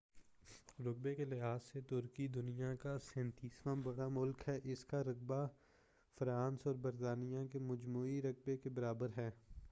رقبہ کے لحاظ سے ترکی دنیا کا 37 واں بڑا ملک ہے اس کا رقبہ فرانس اور برطانیہ کے مجموعی رقبہ کے برابر ہے